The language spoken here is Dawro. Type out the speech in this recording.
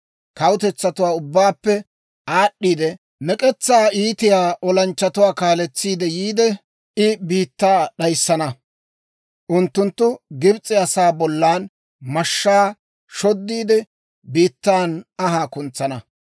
Kawutetsatuwaa ubbaappe aad'd'iide, mek'etsaa iitiyaa olanchchatuwaa kaaletsiide yiide, I biittaa d'ayissana; unttunttu Gibs'e asaa bollan mashshaa shoddiide, biittan anhaa kuntsana.